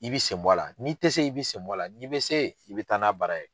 I bi sen bɔ la, n'i ti se, i bi sen bɔ a la, n'i bi se, i bi taa, n'a baara ye.